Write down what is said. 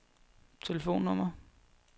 telefonnummer